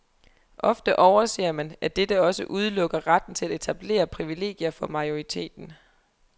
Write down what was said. Ofte overser man, at dette også udelukker retten til at etablere privilegier for majoriteten.